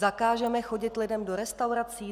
Zakážeme chodit lidem do restaurací?